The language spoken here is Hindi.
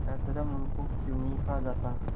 अधर्म उनको क्यों नहीं खा जाता